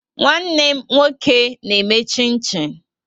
Nwanne m nwoke na-eme chin-chin